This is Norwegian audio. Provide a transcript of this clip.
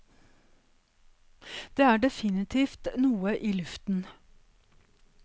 Det er definitivt noe i luften.